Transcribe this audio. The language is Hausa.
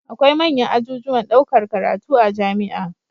Akwai manyan ajujuwan ɗaukar karatu a jamia